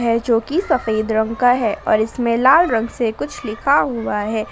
जोकि सफेद रंग का है और इसमें लाल रंग से कुछ लिखा हुआ है।